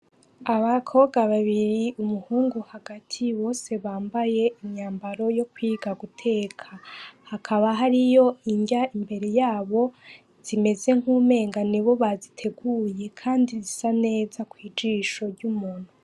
Abakobwa babiri, umuhungu hagati, bose bambaye imyambaro yo kwiga guteka. Hakaba hariyo inrya imbere y'abo zimeze nk'umengo nibo baziteguye kandi zisa neza kw'ijisho ry'umuntu.